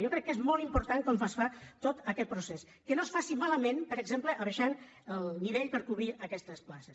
jo crec que és molt important com es fa tot aquest procés que no es faci malament per exemple abaixant el nivell per a cobrir aquestes places